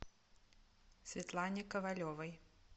светлане ковалевой